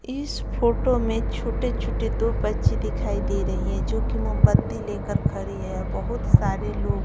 इस फोटो में छोटे-छोटे दो बच्चे दिखाई दे रही है जो कि मोमबत्ती लेकर खड़ी है और बहुत सारे लोग--